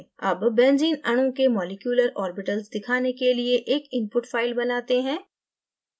अब benzene अणु के मॉलिक्यूलर ऑर्बिटल्स दिखाने के लिए एक input file बनाते हैं